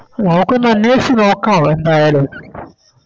നമുക്കൊന്ന് അന്വേഷിച്ച് നോക്കാം എന്തായാലും